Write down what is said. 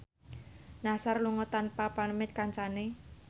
Nassar lunga tanpa pamit kancane